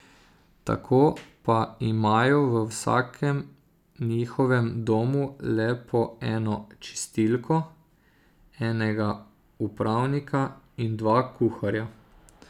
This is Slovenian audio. Tako pa imajo v vsakem njihovem domu le po eno čistilko, enega upravnika in dva kuharja.